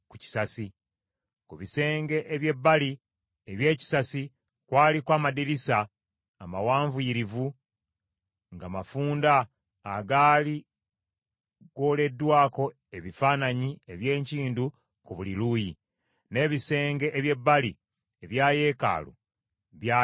Ku bisenge eby’ebbali eby’ekisasi kwaliko amadirisa amawanvuyirivu nga mafunda agaali gooleddwako ebifaananyi eby’enkindu ku buli luuyi. N’ebisenge eby’ebbali ebya yeekaalu byalina obusasi.